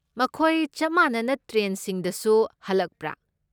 ꯃꯈꯣꯏ ꯆꯞ ꯃꯥꯟꯅꯕ ꯇ꯭ꯔꯦꯟꯁꯤꯡꯗꯁꯨ ꯍꯜꯂꯛꯄ꯭ꯔꯥ?